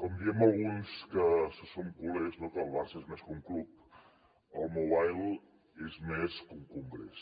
com diem alguns que som culers no que el barça és més que un club el mobile és més que un congrés